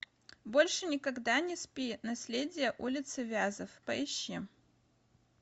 больше никогда не спи наследие улицы вязов поищи